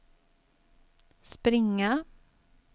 springa